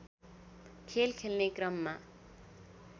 खेल खेल्ने क्रममा